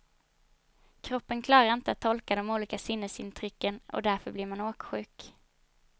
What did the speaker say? Kroppen klarar inte att tolka de olika sinnesintrycken och därför blir man åksjuk.